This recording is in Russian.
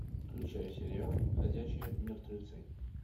включай сериал ходячие мертвецы